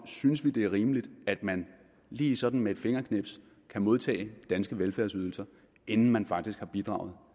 synes det er rimeligt at man lige sådan med et fingerknips kan modtage danske velfærdsydelser inden man faktisk har bidraget